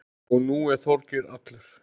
Og nú er Þorgeir allur.